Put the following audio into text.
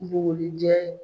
Bugurijɛ